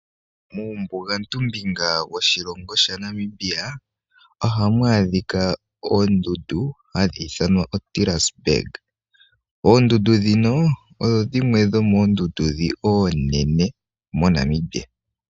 Uumbugantu mbinga woshilongo shetu Namibia ohamu adhika oondundu hadhi ithanwa oTaressberg. Oondundu ndhino, odho dhimwe dhomoo ndundu oonene moNamibia.